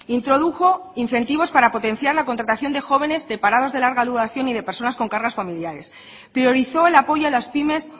introdujo incentivos para potenciar la contratación de jóvenes de parados de larga duración y de personas con cargas familiares priorizó el apoyo a las pymes